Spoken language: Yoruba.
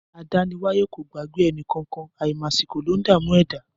Adániwáyẹ kò gbagbẹ ẹnikàn kan; àimàsikò lọún dà mú ẹ̀dá